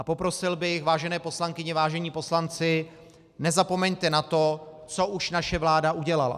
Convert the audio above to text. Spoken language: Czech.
A poprosil bych, vážené poslankyně, vážení poslanci, nezapomeňte na to, co už naše vláda udělala.